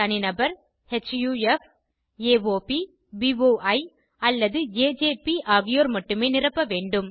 தனிநபர் HUF AOP BOI அல்லது AJP ஆகியோர் மட்டுமே நிரப்ப வேண்டும்